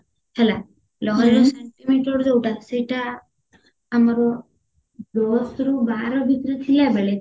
ହେଲା ଲହରୀର centimeter ଯୋଉଟା ସେଇଟା ଆମର ଦଶରୁ ବାର ଭିତରେ ଥିଲାବେଳେ